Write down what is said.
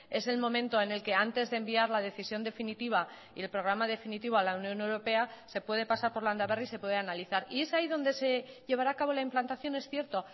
es el momento en el que antes de enviar la decisión definitiva y el programa definitivo a la unión europea se puede pasar por landaberri y se puede analizar y es ahí donde se llevará a cabo la implantación es cierto